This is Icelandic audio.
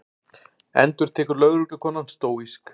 endurtekur lögreglukonan stóísk.